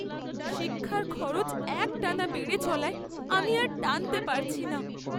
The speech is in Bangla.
শিক্ষার খরচ একটানা বেড়ে চলায় আমি আর টানতে পারছি না।